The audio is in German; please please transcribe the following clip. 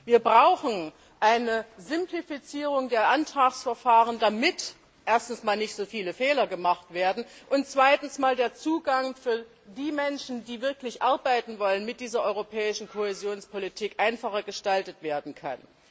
Wir brauchen eine Simplifizierung der Antragsverfahren, damit erstens nicht so viele Fehler gemacht werden, und zweitens der Zugang für die Menschen, die wirklich arbeiten wollen, mit dieser Europäischen Kohäsionspolitik einfacher gestaltet werden kann.